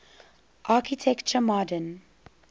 architecture modern